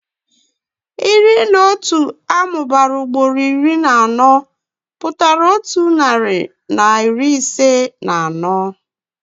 Iri na otu amụbara ugboro iri na anọ pụtara otu narị na iri ise na anọ.